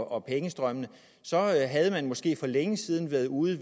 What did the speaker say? og pengestrømmene havde man måske for længe siden været ude